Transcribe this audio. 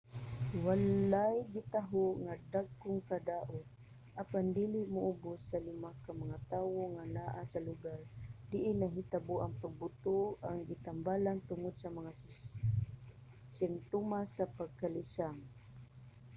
walay gitaho nga dagkong kadaot apan dili moubus sa lima ka mga tawo nga naa sa lugar diin nahitabo ang pagbuto ang gitambalan tungod sa mga simtomas sa pagkalisang